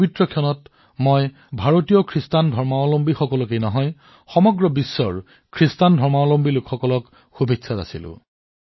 এই পবিত্ৰ আৰু শুভ মুহূৰ্তত মই ভাৰতৰ লগতে সমগ্ৰ বিশ্বৰ খ্ৰীষ্টান ধৰ্মাৱলম্বী লোকসকললৈ শুভেচ্ছা জনাইছো